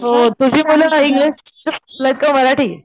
हो तुझी मुल इंग्लिश स्कुलला कि मराठी?